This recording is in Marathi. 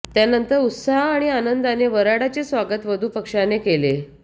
त्यानंतर उत्साह आणि आनंदाने वऱ्हाडाचे स्वागत वधु पक्षाने केले